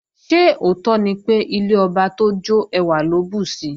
Ṣé òótọ́ ni pé, ilé ọba tó jọ́ ẹwà ló bùsi?